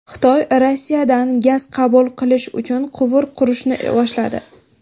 Xitoy Rossiyadan gaz qabul qilish uchun quvur qurishni boshladi.